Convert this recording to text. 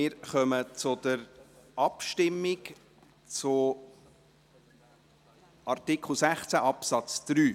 Wir kommen zur Abstimmung über Artikel 16 Absatz 3.